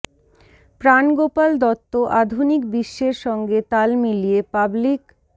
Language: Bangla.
প্রাণ গোপাল দত্ত আধুনিক বিশ্বের সঙ্গে তাল মিলিয়ে পাবলিক